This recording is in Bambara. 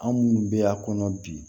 An minnu bɛ a kɔnɔ bi